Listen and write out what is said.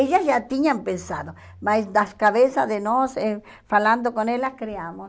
Elas já tinham pensado, mas nas cabeça de nós, eh falando com elas, criamos.